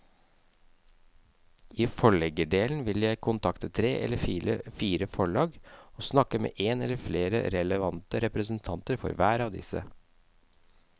I forleggerdelen vil jeg kontakte tre eller fire forlag og snakke med en eller flere relevante representanter for hver av disse.